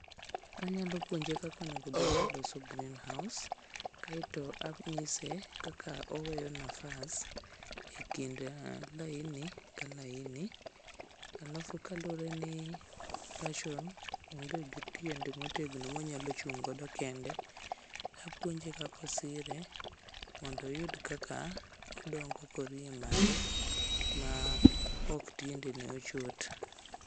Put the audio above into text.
Anyalo puonje kaka onegobed noloso green house kaeto anyise kaka oweyo nafas e kind laini ka laini alafu kaluwre ni passion onge gi tiende motegno monyalo chung'go kende, apuonje kaka osire mondo oyud kaka odongo korie malo maok tiendene ochot.